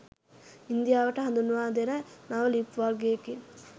ඉන්දියාවට හඳුන්වා දෙන නව ලිප් වර්ගයකින්